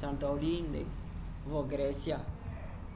santorini vo grécia